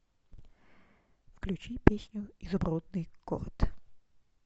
включи песню изумрудный город